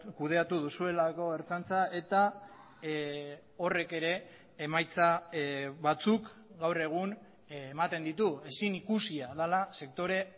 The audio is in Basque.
kudeatu duzuelako ertzaintza eta horrek ere emaitza batzuk gaur egun ematen ditu ezin ikusia dela sektore